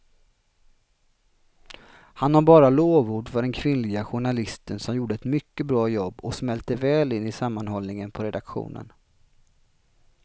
Han har bara lovord för den kvinnliga journalisten som gjorde ett mycket bra jobb och smälte väl in i sammanhållningen på redaktionen.